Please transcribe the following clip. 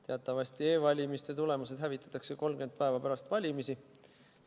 Teatavasti hävitatakse e-valimiste tulemused 30 päeva pärast valimisi.